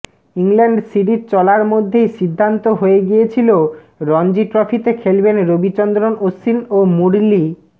England series চলার মধ্যেই সিদ্ধান্ত হয়ে গিয়েছিল রঞ্জি ট্রফিতে খেলবেন রবিচন্দ্রন অশ্বিন ও মুরলী